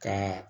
Ka